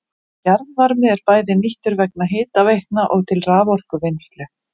Jarðvarmi er bæði nýttur vegna hitaveitna og til raforkuvinnslu.